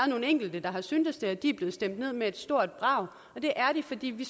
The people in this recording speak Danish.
nogle enkelte der har syntes det og de er blevet stemt ned med et stort brag og det er de fordi vi